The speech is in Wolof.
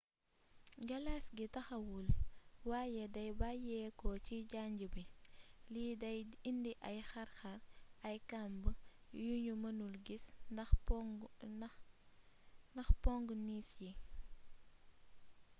galaas gi taxawul waye day bayyéeko ci janj bi li day indi ay xarxar ay kamb yunu mënul gis ndax pongu niis yi